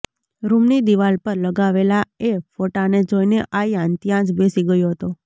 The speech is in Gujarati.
રુમની દિવાલ પર લગાવેલા એ ફોટાને જોઈને આયાન ત્યાં જ બેસી ગયો હતો